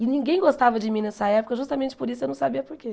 E ninguém gostava de mim nessa época, justamente por isso eu não sabia por quê.